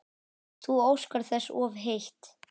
Þú óskar þess of heitt